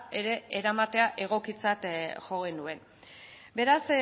ere eramatea egokitzat jo genuen beraz